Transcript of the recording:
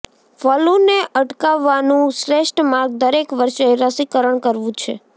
ફલૂને અટકાવવાનું શ્રેષ્ઠ માર્ગ દરેક વર્ષે રસીકરણ કરવું છે